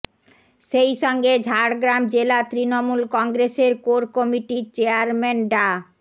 সেইসঙ্গে ঝাড়গ্রাম জেলা তৃণমূল কংগ্রেসের কোর কমিটির চেয়ারম্যান ডা